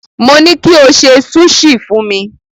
Mo ní kí o ṣe súṣì fún mi.